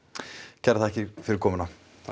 kærar þakkir fyrir komuna